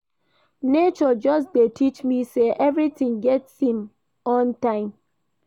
Nature just dey teach me sey everytin get im own time.